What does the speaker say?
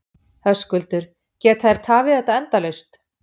Höskuldur: Geta þeir tafið þetta endalaust?